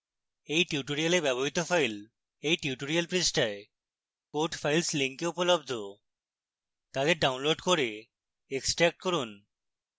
এই tutorial ব্যবহৃত files এই tutorial পৃষ্ঠায় code files link উপলব্ধ তাদের ডাউনলোড করে এক্সট্র্যাক্ট করুন